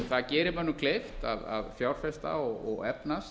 það gerir mönnum kleift að fjárfesta og efnast